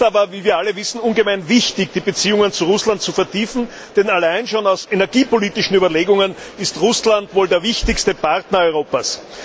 Es ist aber, wie wir alle wissen, ungemein wichtig, die Beziehungen zu Russland zu vertiefen, denn allein schon aus energiepolitischen Überlegungen ist Russland wohl der wichtigste Partner Europas.